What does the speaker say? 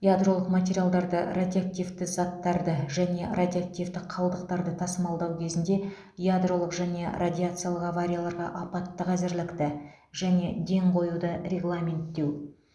ядролық материалдарды радиоактивті заттарды және радиоактивті қалдықтарды тасымалдау кезінде ядролық және радиациялық аварияларға апаттық әзірлікті және ден қоюды регламенттеу